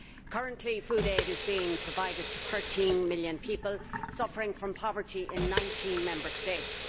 Currently food aid is being provided to 13 million people suffering from poverty in 19 Member States.